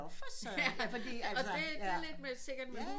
Nå for Søren ja fordi altså